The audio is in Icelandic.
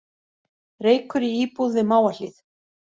Reykur í íbúð við Mávahlíð